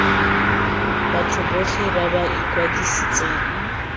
batho botlhe ba ba ikwadisitseng